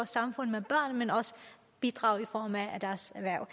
samfund med børn men også bidrage i form af deres erhverv